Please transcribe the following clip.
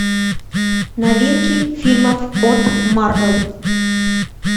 новинки фильмов от марвел